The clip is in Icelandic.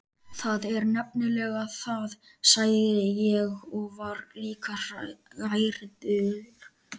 Það er nefnilega það, sagði ég og var líka hrærður.